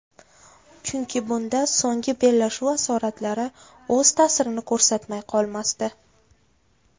Chunki bunda so‘nggi bellashuv asoratlari o‘z ta’sirini ko‘rsatmay qolmasdi.